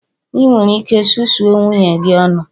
Ị nwere ike susuo nwunye gi ọnụ!